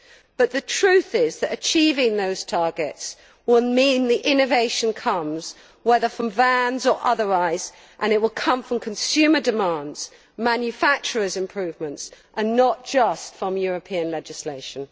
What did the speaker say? But the truth is that achieving those targets will mean the innovation comes, whether from vans or otherwise, and it will come from consumer demands and manufacturers' improvements and not just from European legislation.